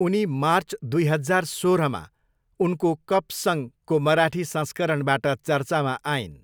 उनी मार्च दुई हजार सोह्रमा उनको 'कप सङ'को मराठी संस्करणबाट चर्चामा आइन्।